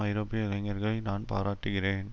ஐரோப்பிய இளைஞர்களை நான் பாராட்டுகிறேன்